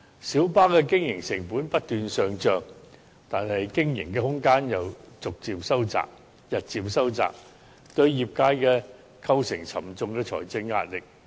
小巴的經營成本不斷上漲，但經營空間又日漸收窄，對業界構成沉重的財政壓力。